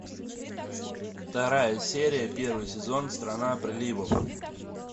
вторая серия первый сезон страна приливов